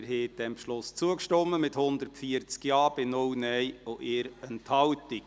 Sie haben dem Regierungsratsbeschluss zugestimmt, mit 140 Ja- zu 0 Nein-Stimmen bei 1 Enthaltung.